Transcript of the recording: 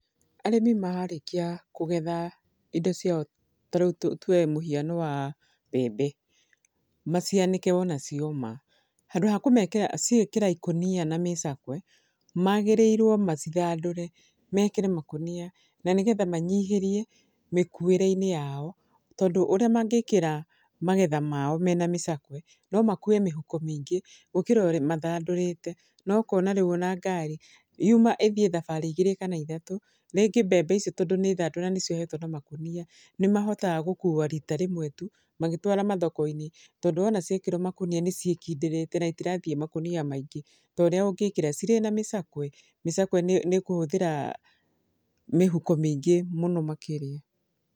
Arĩmi marĩkia kũgetha indo ciao ta rĩu tuoe mũhiano wa mbembe. Macianĩke wona cioma, handũ ha kũmekĩra ciĩkĩra ikũnia na mĩcakwe, magĩrĩirwo macithandũre, mekĩre makũnia. Na nĩgetha manyihĩrie mĩkuĩre-inĩ yao. Tondũ ũrĩa mangĩkĩra magetha mao mena mĩcakwe, no makue mĩhuko mĩingĩ gũkĩra ũrĩa, mathandũrĩte. Na ũkona rĩu ona ngari, yuma ĩthiĩ thabarĩ igĩrĩ kana ithatũ, rĩngĩ mbembe icio tondũ nĩ thandũre na nĩ ciohetwo na makũnia, nĩ mahotaga gũkuua rĩta rĩmwe tu magĩtwara mathoko-inĩ. Tondũ wona ciekĩrwo makũnia nĩ ciĩkindĩrĩte, na itirathiĩ makũnia maingĩ, ta ũrĩa ũngĩkĩra cirĩ na mĩcakwe. Mĩcakwe nĩ ĩkũhũthĩra mĩhuko mĩingĩ mũno makĩria.